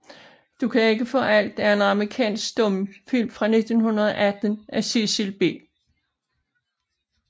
Du kan ikke faa alt er en amerikansk stumfilm fra 1918 af Cecil B